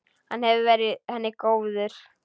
Hann hefur verið henni góður.